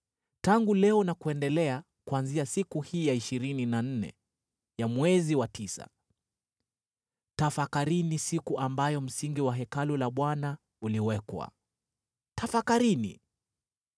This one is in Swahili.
‘Tangu leo na kuendelea, kuanzia siku hii ya ishirini na nne ya mwezi wa tisa, tafakarini siku ambayo msingi wa Hekalu la Bwana uliwekwa. Tafakarini: